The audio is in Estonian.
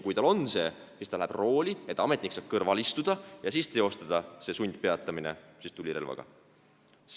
Kui tal on see tehtud, siis ta läheb rooli, et ametnik saaks kõrval istuda ja teostada see sundpeatamine tulirelva abil.